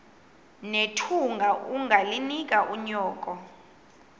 nethunga ungalinik unyoko